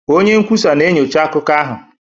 Onye nkwusa na-enyocha akụkọ ahụ